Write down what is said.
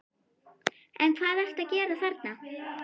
En hvað ertu að gera þarna?